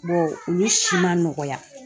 olu si ma nɔgɔya.